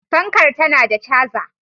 Fankar tana da caza.